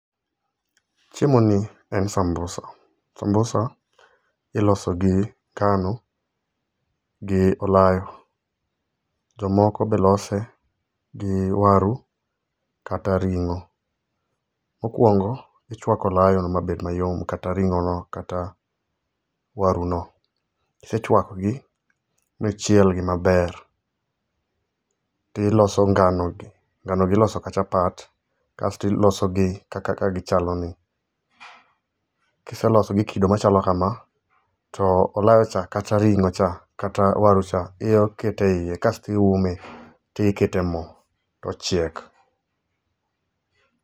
Chiemoni en sambusa. Sambusa ilosogi ngano gi olayo. Jomoko be lose gi waru kata ring'o. Mokwongo, ichwako olayono ma bed mayom kata ring'ono kata waruno. Kisechwakogi, michielgi maber, tiloso nganono iloso ka chapat. Kasto iloso gi kaka kae gichaloni. Kiselosogi gi kido machalo kama, to olayo cha kata ring'ocha, kata waru cha, inya keto e iye kasto iume tikete mo tochiek.